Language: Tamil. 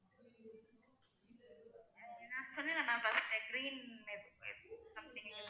சொன்னேன்ல நான் first day green something like